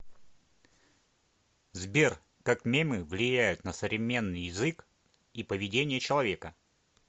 сбер как мемы влияют на современный язык и поведение человека